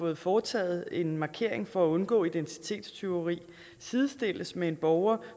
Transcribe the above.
har foretaget en markering for at undgå identitetstyveri sidestilles med en borger